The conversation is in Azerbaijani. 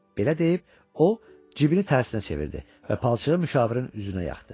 Belə deyib, o cibini tərsinə çevirdi və palçığı müşavirin üzünə yaxtdı.